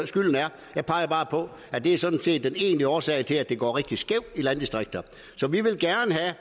skylden er jeg peger bare på at det sådan set er den egentlige årsag til at det går rigtig skævt i landdistrikterne så vi vil gerne have